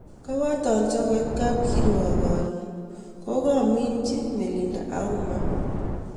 Kobooton chekooit kapkirwook kaaroon kokaamitnyi Melinda auma